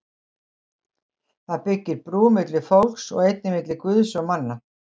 Það byggir brú milli fólks og einnig milli Guðs og manna.